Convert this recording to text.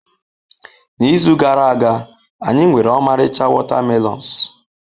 N'izu gara aga, anyị nwere ọmarịcha watermelons.